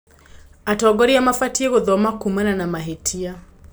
Atongoria mabatiĩ gũthoma kumana na mahĩtia.